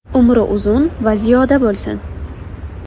Umri uzun va ziyoda bo‘lsin!